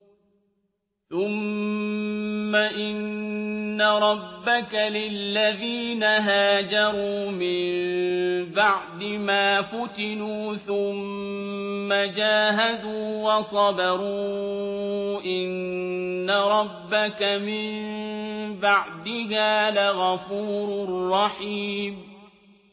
ثُمَّ إِنَّ رَبَّكَ لِلَّذِينَ هَاجَرُوا مِن بَعْدِ مَا فُتِنُوا ثُمَّ جَاهَدُوا وَصَبَرُوا إِنَّ رَبَّكَ مِن بَعْدِهَا لَغَفُورٌ رَّحِيمٌ